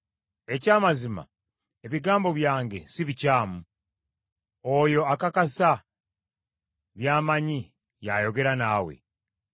Eky’amazima ebigambo byange si bikyamu, oyo akakasa by’amanyi y’ayogera naawe.